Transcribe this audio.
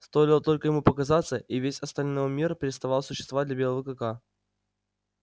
стоило только ему показаться и весь остальной мир переставал существовать для белого клыка